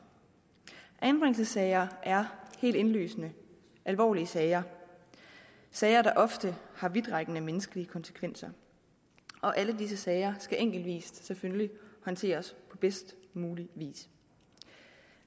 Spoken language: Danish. anbringelsessager er helt indlysende alvorlige sager sager der ofte har vidtrækkende menneskelige konsekvenser alle disse sager skal selvfølgelig enkeltvis håndteres på bedst mulig vis